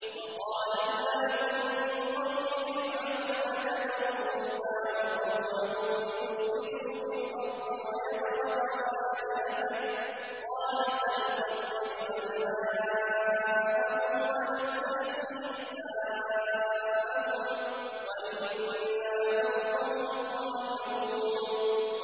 وَقَالَ الْمَلَأُ مِن قَوْمِ فِرْعَوْنَ أَتَذَرُ مُوسَىٰ وَقَوْمَهُ لِيُفْسِدُوا فِي الْأَرْضِ وَيَذَرَكَ وَآلِهَتَكَ ۚ قَالَ سَنُقَتِّلُ أَبْنَاءَهُمْ وَنَسْتَحْيِي نِسَاءَهُمْ وَإِنَّا فَوْقَهُمْ قَاهِرُونَ